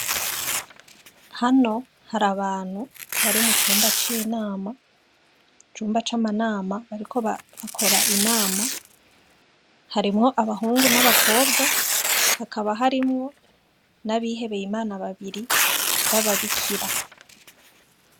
Hano har'abantu bari mucumba c'inama icumba c'amanama bariko bakora inama harimwo abahungu n'abakobwa hakaba harimwo n'abihebeye imana babiri b'ababikira.